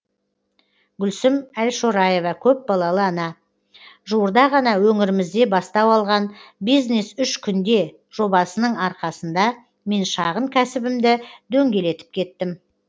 гүлсім әлшораева көпбалалы ана жуырда ғана өңірімізде бастау алған бизнес үш күнде жобасының арқасында мен шағын кәсібімді дөңгелетіп кеттім